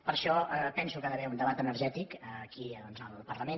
per això penso que hi ha d’haver un debat energètic aquí doncs al parlament